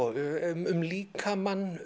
um líkamann